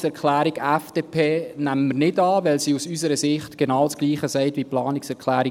Die Planungserklärung FDP nehmen wir nicht an, weil sie aus unserer Sicht genau das Gleiche sagt wie die Planungserklärung